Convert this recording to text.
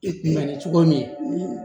na cogo min